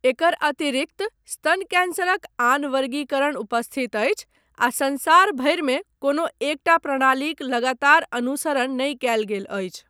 एकर अतिरिक्त, स्तन कैंसरक आन वर्गीकरण उपस्थित अछि आ संसार भरिमे कोनो एकटा प्रणालीक लगातार अनुसरण नहि कयल गेल अछि।